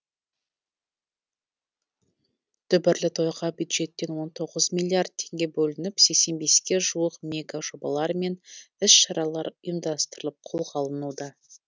дүбірлі тойға бюджеттен он тоғыз миллиард теңге бөлініп сексен беске жуық мега жобалар мен іс шаралар ұйымдастырылып қолға алынуда